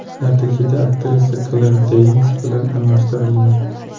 Natijada aktrisa Kler Deyns bilan almashtirilgan.